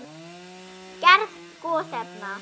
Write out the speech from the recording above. Gerð gosefna